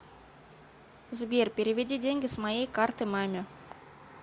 сбер переведи деньги с моей карты маме